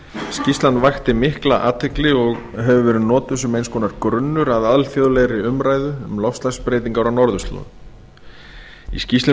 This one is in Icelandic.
skýrslan vakti mikla athygli og hefur verið notuð sem eins konar grunnur að alþjóðlegri umræðu um loftslagsbreytingar á norðurslóðum í skýrslunni